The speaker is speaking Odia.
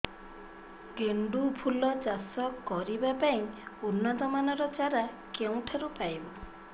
ଗେଣ୍ଡୁ ଫୁଲ ଚାଷ କରିବା ପାଇଁ ଉନ୍ନତ ମାନର ଚାରା କେଉଁଠାରୁ ପାଇବୁ